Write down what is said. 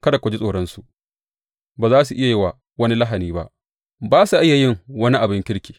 Kada ku ji tsoronsu; ba za su iya yi wa wani lahani ba ba sa iya yin wani abin kirki.